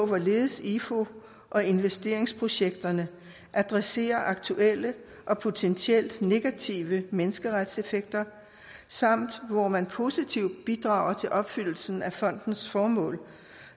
hvorledes ifu og investeringsprojekterne adresserer aktuelle og potentielle negative menneskerettighedseffekter samt om hvor man positivt bidrager til opfyldelse af fondens formål